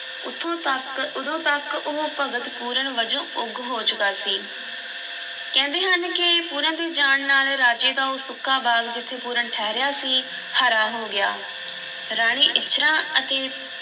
ਉੱਥੋਂ ਤੱਕ ਉਦੋਂ ਤੱਕ ਉਹ ਭਗਤ ਪੂਰਨ ਵਜੋਂ ਉੱਘ ਹੋ ਚੁੱਕਾ ਸੀ, ਕਹਿੰਦੇ ਹਨ ਕਿ ਪੂਰਨ ਦੇ ਜਾਣ ਨਾਲ ਰਾਜੇ ਦਾ ਉਹ ਸੁੱਕਾ ਬਾਗ਼ ਜਿੱਥੇ ਪੂਰਨ ਠਹਿਰਿਆ ਸੀ, ਹਰਾ ਹੋ ਗਿਆ, ਰਾਣੀ ਇੱਛਰਾਂ ਅਤੇ